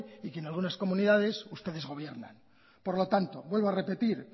y que en algunas comunidades ustedes gobiernan por lo tanto vuelvo a repetir